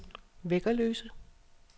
Væggerløse